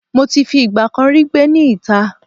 Mo ti fi ìgbà kan rí gbé ní ìta